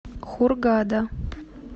хургада